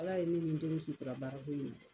Ala ye ne ni n denw sutura baarako in na.